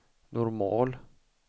normal